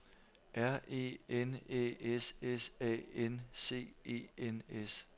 R E N Æ S S A N C E N S